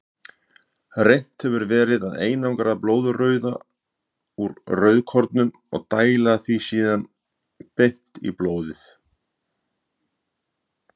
Reynt hefur verið að einangra blóðrauða úr rauðkornum og dæla því síðan beint í blóðið.